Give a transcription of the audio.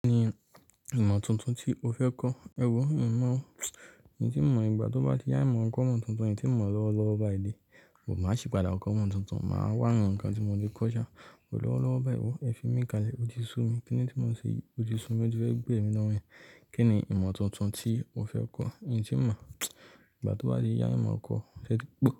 Kí ni ìmọ̀ tuntun tí o fẹ́ kọ́? Ẹ wo, n mọ̀ o, n tí mo mọ̀ ìgbà tó bá ti yá, n mọ̀ kọ́ mọ̀ tuntun, n tí mọ̀ lọ́wọ́ lọ́wọ́ bayi dè, bu- máa sì padà kọ́ ìmọ̀ tuntun, màá wá awon nǹkan tí mo ti kọ́ sha. Wò lọ́wọ́ lọ́wọ́ bayi wò, ẹ fi mí kalẹ̀, ótí su mi, kíni tí mo ṣe yi òti su mi o ti fẹ́ gbẹ̀mí lọ́rùn eyan, kí ni ìmọ̀ tuntun tí o fẹ́ kọ́? Mi tí mo ìgbà tó bá ti yá, ìmọ̀ kọ́ se eti gbó.